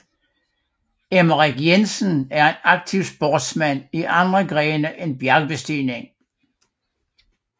Emmerik Jensen var en aktiv sportsmand i andre grene end bjergbestigning